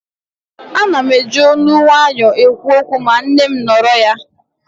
Ana m eji ólú nwaayọ ekwu okwu ma nne m nọrọ ya